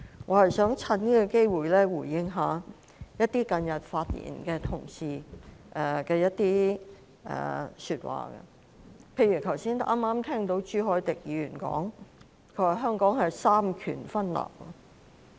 我只想藉此機會回應近日發言的同事所說的一些話，例如，剛才朱凱廸議員提到香港三權分立。